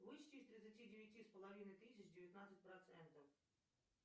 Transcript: вычти из тридцати девяти с половиной тысяч девятнадцать процентов